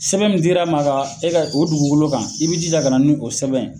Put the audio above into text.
Sɛbɛn mun dira ma ka e ka o dugukolo kan i bi jija ka na ni o sɛbɛn ye.